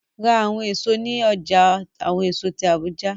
Ra awọn eso ni ọja awọn eso ti Abuja!